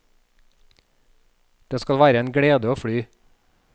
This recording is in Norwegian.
Det skal være en glede å fly.